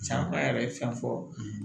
Caman yɛrɛ ye fɛn fɔ